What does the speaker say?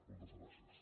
moltes gràcies